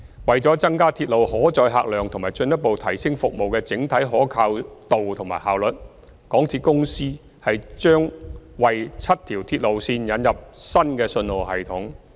為了增加鐵路可載客量及進一步提升服務的整體可靠度和效率，港鐵公司將為7條鐵路線引入新信號系統。